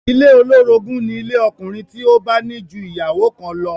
Ilé olórogún ni ilé ọkùnrin tí ó bá ní ju ìyàwó kan lọ